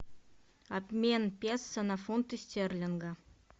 обмен песо на фунты стерлинга